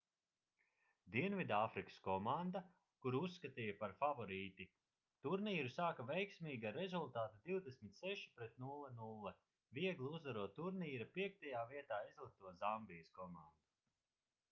dienvidāfrikas komanda kuru uzskatīja par favorīti turnīru sāka veiksmīgi ar rezultātu 26:00 viegli uzvarot turnīra 5. vietā izlikto zambijas komandu